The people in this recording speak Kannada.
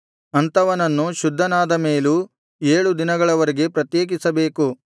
ಅಂಥವನನ್ನು ಶುದ್ಧನಾದ ಮೇಲೂ ಏಳು ದಿನಗಳವರೆಗೆ ಪ್ರತ್ಯೇಕಿಸಬೇಕು